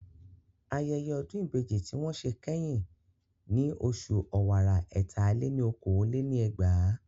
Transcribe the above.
Ayẹyẹ Ọdún Ìbejì tí wọ́n ṣe kẹ́yìn ni oṣù ọ̀wàrà ẹ̀ta-lé-ní-okòó lé ní ẹgbàá